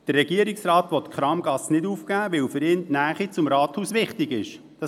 Der Regierungsrat will die Kramgasse nicht aufgeben, weil für ihn die Nähe zum Rathaus wichtig ist.